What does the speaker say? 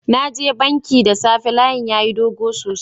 Na je banki da safe, layin yayi dog sosai.